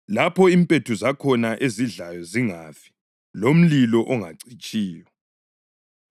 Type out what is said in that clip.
lapho ‘impethu zakhona ezidlayo zingafi, lomlilo ongacitshiyo.’ + 9.48 U-Isaya 66.24